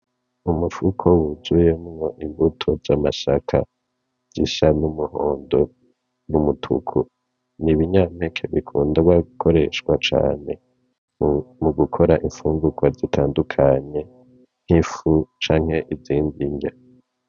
Umufuko w'uzuyemwo imbuto z'amasaka zisa n'umuhondo, n'umutuku, n'ibinyampeke bikundwa gukoreshwa cane mugukora imfungurwa zitadukanye nk'ifu canke izindi nrya.